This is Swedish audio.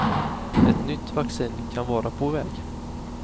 Ett nytt vaccin kan vara på väg.